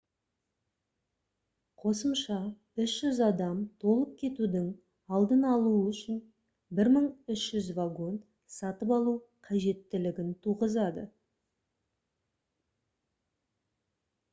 қосымша 300 адам толып кетудің алдын алу үшін 1300 вагон сатып алу қажеттілігін туғызады